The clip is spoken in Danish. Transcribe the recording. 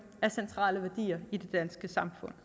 er centrale værdier i det danske samfund